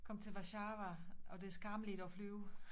Kom til Warszawa og det skammeligt at flyve